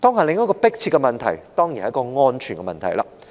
另一個迫切的問題當然是安全的問題。